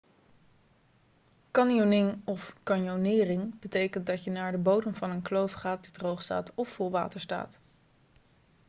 canyoning of: caynoneering betekent dat je naar de bodem van een kloof gaat die droog staat of vol water staat